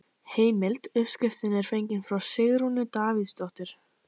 Heimild: Uppskriftin er fengin frá Sigrúnu Davíðsdóttur.